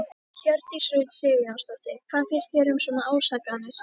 Hjördís Rut Sigurjónsdóttir: Hvað finnst þér um svona ásakanir?